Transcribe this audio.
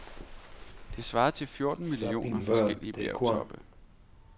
Det svarede til fjorten millioner forskellige bjergtoppe.